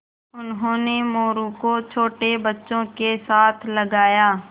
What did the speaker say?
उन्होंने मोरू को छोटे बच्चों के साथ लगाया